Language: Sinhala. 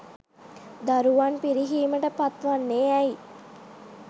දරුවන් පිරිහීමට පත් වන්නේ ඇයි?